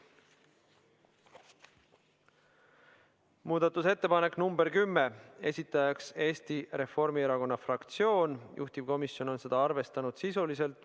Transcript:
Muudatusettepanek nr 10, esitajaks on Eesti Reformierakonna fraktsioon, juhtivkomisjon on arvestanud seda sisuliselt .